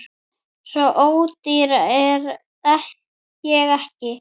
Svo ódýr er ég ekki